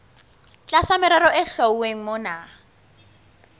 tlasa merero e hlwauweng mona